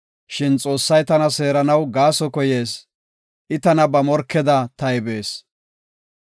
Shin Xoossay tana seeranaw gaaso koyees; I tana ba morkeda taybees.